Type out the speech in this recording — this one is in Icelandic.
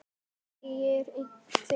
Segir hver?